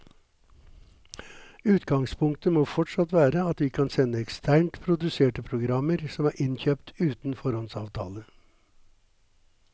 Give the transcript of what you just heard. Utgangspunktet må fortsatt være at vi kan sende eksternt produserte programmer som er innkjøpt uten foråndsavtale.